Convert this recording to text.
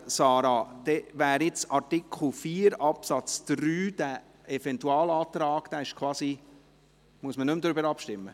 – Müssen wir nun nicht mehr über den Eventualantrag zu Artikel 4 Absatz 3 abstimmen?